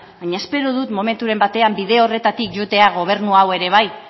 baina espero dut momenturen batean bide horretatik joatea gobernu hau ere bai